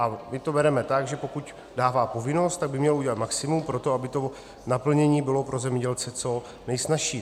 A my to bereme tak, že pokud dává povinnost, tak by mělo udělat maximum pro to, aby to naplnění bylo pro zemědělce co nejsnazší.